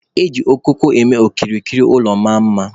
Eji okooko eme ka okirikiri ụlọ maa mma